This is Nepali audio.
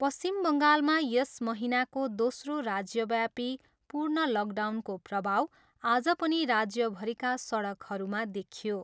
पश्चिम बङ्गालमा यस महिनाको दोस्रो राज्यव्यापी पूर्ण लकडाउनको प्रभाव आज पनि राज्यभरिका सडकहरूमा देखियो।